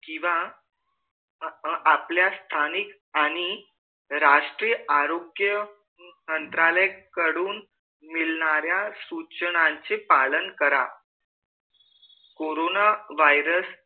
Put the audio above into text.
कीवा आपल्या स्थानिक आणि राष्ट्रीय आरोग्य मंत्रालय कडून मिळणाऱ्या सूचनांचे पालन करा